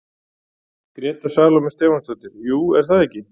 Gréta Salóme Stefánsdóttir: Jú, er það ekki?